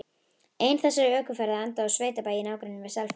Ein þessara ökuferða endaði á sveitabæ í nágrenni við Selfoss.